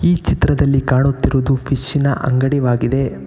ಈ ಚಿತ್ರದಲ್ಲಿ ಕಾಣುತ್ತಿರುವುದು ಫಿಶ್ ನ ಅಂಗಡಿವಾಗಿದೆ.